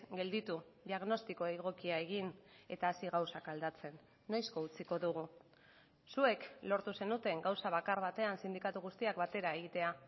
gelditu diagnostiko egokia egin eta hasi gauzak aldatzen noizko utziko dugu zuek lortu zenuten gauza bakar batean sindikatu guztiak batera egitea